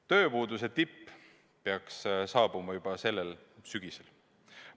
Tööpuuduse tipp peaks saabuma juba sellel sügisel.